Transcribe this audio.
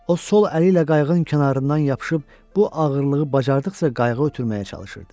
O sol əli ilə qayığın kənarından yapışıb bu ağırlığı bacardıqca qayıqa ötürməyə çalışırdı.